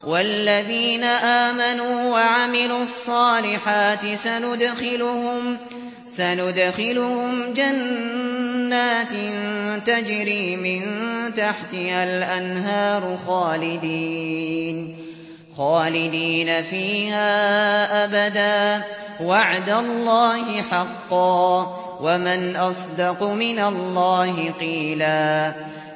وَالَّذِينَ آمَنُوا وَعَمِلُوا الصَّالِحَاتِ سَنُدْخِلُهُمْ جَنَّاتٍ تَجْرِي مِن تَحْتِهَا الْأَنْهَارُ خَالِدِينَ فِيهَا أَبَدًا ۖ وَعْدَ اللَّهِ حَقًّا ۚ وَمَنْ أَصْدَقُ مِنَ اللَّهِ قِيلًا